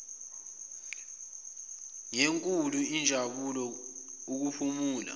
ngenkulu injabulo kuphumla